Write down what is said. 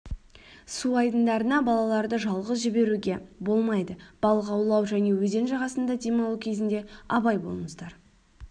су айдындарына балаларды жалғыз жіберуге болмайды балық аулу және өзен жағасында демалу кезінде абай болыңыздар